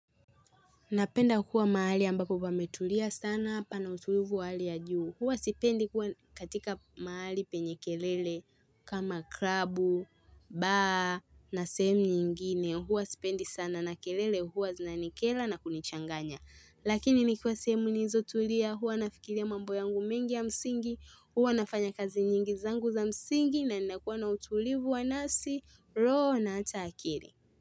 Napenda kuwa mahali ambapo pametulia sana pana utulivu w hali ya juu. Huwa sipendi kuwa katika mahali penye kelele kama klabu, bar na semu nyingine. Huwa sipendi sana na kelele huwa zinanikera na kunichanganya. Lakini nikiwa sehemu nizotulia huwa nafikiria mambo yangu mengi ya msingi. Huwa nafanya kazi nyingi zangu za msingi na ninakuwa na utulivu wa nafsi roho na hata akili.